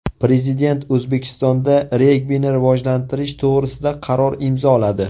Prezident O‘zbekistonda regbini rivojlantirish to‘g‘risida qaror imzoladi.